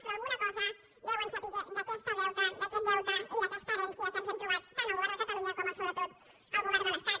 però alguna cosa deuen saber d’aquest deute i d’aquesta herència que ens hem trobat tant el govern de catalunya com sobretot el govern de l’estat